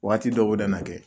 Waati dɔw nana kɛ